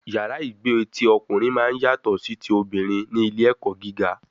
Yàrá ìgbé ti ọkùnrin máa ń yàtọ sí ti obìnrin ní ilé ẹ̀kọ́ gíga